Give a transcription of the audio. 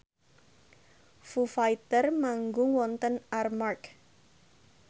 Foo Fighter manggung wonten Armargh